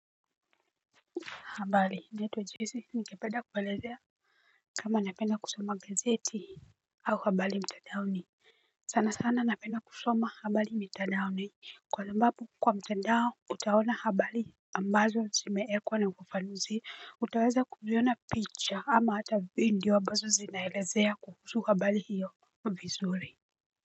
Habali natwa jesi ningependa kuwaelezea kama napenda kusoma gazeti au habali mtadaoni sana sana napenda kusoma habali mtadaoni kwa sabapu kwa mtadao utaona habali ambazo zimeekwa na kufafanuzi utaweza kuziona picha ama hata vidiyo abazo zinaelezea kuhusu habali hiyo vizuri.